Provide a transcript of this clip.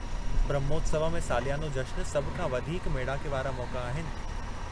ब्रह्मोत्सवमु ऐं सालियानो जश्नु सभु खां वधीक मेड़ाके वारा मौक़ा आहिनि।